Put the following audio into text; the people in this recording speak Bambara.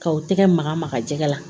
K'aw tɛgɛ maga maga jɛgɛ la